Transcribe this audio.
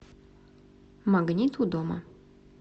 магнит у дома